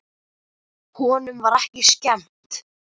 Honum var ekki skemmt.